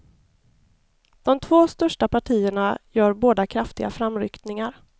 De två största partierna gör båda kraftiga framryckningar.